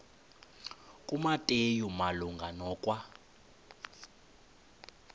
kumateyu malunga nokwa